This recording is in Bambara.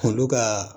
Olu ka